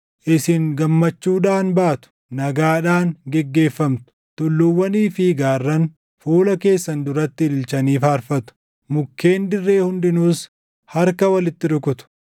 Isin gammachuudhaan baatu; nagaadhaan geggeeffamtu; tulluuwwanii fi gaarran, fuula keessan duratti ililchanii faarfatu; mukkeen dirree hundinuus harka walitti rukutu.